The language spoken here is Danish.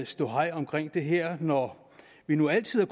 ståhej omkring det her når vi nu altid har